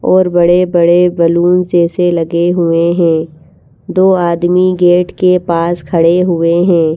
और बड़े-बड़े बलून जैसे लगे हुए हैं दो आदमी गेट के पास खड़े हुए हैं।